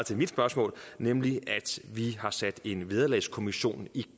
mit spørgsmål nemlig at vi har sat en vederlagskommission i